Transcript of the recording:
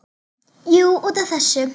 Jú, út af þessu.